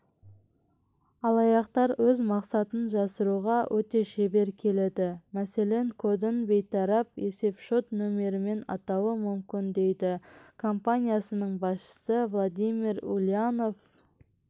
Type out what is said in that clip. алаяқтар өз мақсатын жасыруға өте шебер келеді мәселен кодын бейтарап есеп-шот нөмірімен атауы мүмкін дейді компаниясының басшысы владимир ульянов